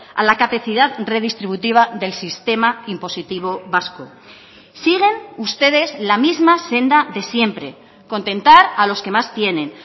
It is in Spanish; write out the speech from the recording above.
a la capacidad redistributiva del sistema impositivo vasco siguen ustedes la misma senda de siempre contentar a los que más tienen